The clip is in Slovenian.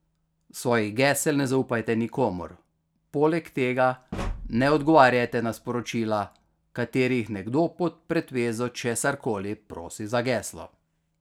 Svojih gesel ne zaupajte nikomur, poleg tega ne odgovarjajte na sporočila, v katerih nekdo pod pretvezo česarkoli prosi za geslo.